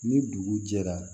Ni dugu jɛra